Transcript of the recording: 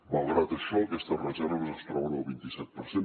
malgrat això aquestes reserves es troben al vint iset per cent